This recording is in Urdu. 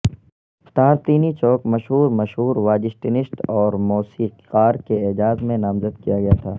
تارتینی چوک مشہور مشہور واجسٹنسٹ اور موسیقار کے اعزاز میں نامزد کیا گیا تھا